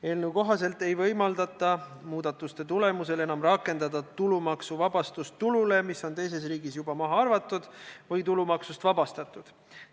Eelnõu kohaselt ei võimaldata muudatuste tulemusel enam rakendada tulumaksuvabastust tulule, mis on teises riigis juba maha arvatud või tulumaksust vabastatud.